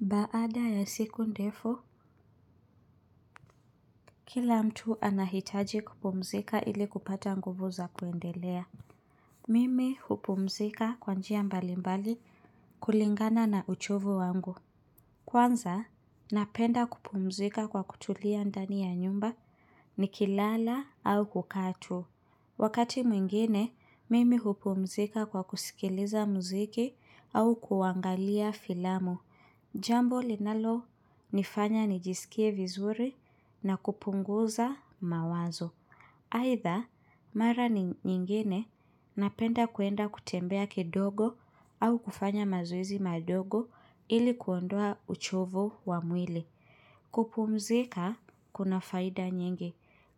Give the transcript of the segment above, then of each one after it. Baada ya siku ndefu, kila mtu anahitaji kupumzika ili kupata nguvu za kuendelea. Mimi hupumzika kwa njia mbalimbali kulingana na uchovu wangu. Kwanza napenda kupumzika kwa kutulia ndani ya nyumba nikilala au kukaa tu. Wakati mwingine, mimi hupumzika kwa kusikiliza mziki au kuangalia filamu. Jambo linalonifanya nijisikie vizuri na kupunguza mawazo. Aidha mara nyingine napenda kuenda kutembea kidogo au kufanya mazoezi madogo ili kuondoa uchovu wa mwili. Kupumzika kuna faida nyingi.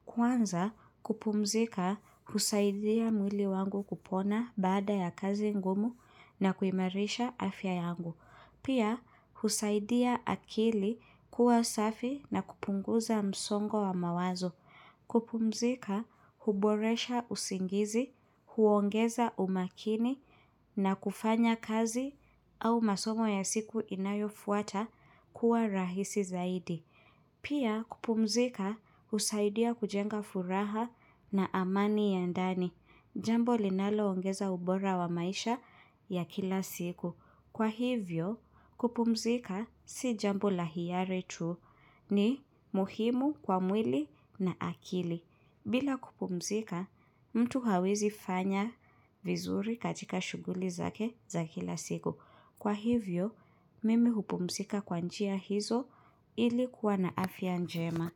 Kwanza kupumzika husaidia mwili wangu kupona baada ya kazi ngumu na kuimarisha afya yangu. Pia husaidia akili kuwa safi na kupunguza msongo wa mawazo. Kupumzika huboresha usingizi, huongeza umakini na kufanya kazi au masomo ya siku inayofuata kuwa rahisi zaidi. Pia kupumzika husaidia kujenga furaha na amani ya ndani. Jambo linaloongeza ubora wa maisha ya kila siku. Kwa hivyo kupumzika si jambo la hiari tu ni muhimu kwa mwili na akili. Bila kupumzika mtu hawezi fanya vizuri katika shughuli zake za kila siku. Kwa hivyo mimi hupumzika kwa njia hizo ili kuwa na afya njema.